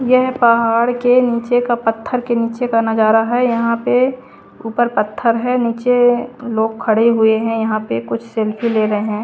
यह पहाड़ के नीचे का पत्थर के नीचे का नजारा है यहां पे ऊपर पत्थर है नीचे लोग खड़े हुए हैं यहां पे कुछ सेल्फी ले रहे हैं।